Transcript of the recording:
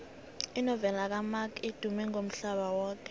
inovela kamark edumme umhlaba yoke